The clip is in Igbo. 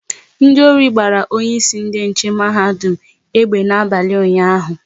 Ndị ori gbara onye isi ndị nche mahadum egbe n'abalị ụnyaahụ